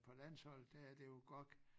På landsholdet der er det jo GOG